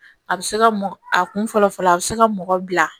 A bɛ se ka mɔgɔ a kun fɔlɔ fɔlɔ a bɛ se ka mɔgɔ bila